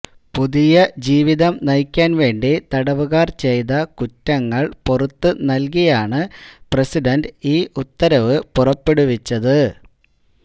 പുതിയ ജീവിതം നയിക്കാന് വേണ്ടി തടവുകാര് ചെയ്ത കുറ്റങ്ങള് പൊറുത്ത് നല്കിയാണ് പ്രസിഡന്റ് ഈ ഉത്തരവ് പുറപ്പെടുവിച്ചത്